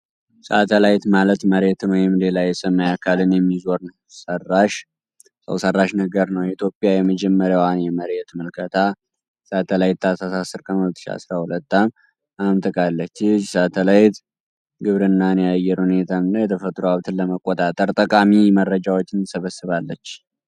ሳተላይት ማለት መሬትን ወይም ሌላ የሰማይ አካልን የሚዞር ሰው ሰራሽ ነገር ነው። ኢትዮጵያ የመጀመሪያዋን የመሬት ምልከታ ሳተላይት ታህሳስ 10 ቀን 2012 ዓ.ም. አምጥቃለች። ይህች ሳተላይት ግብርናን፣ የአየር ሁኔታን እና የተፈጥሮ ሀብትን ለመቆጣጠር ጠቃሚ መረጃዎችን ትሰበስባለች።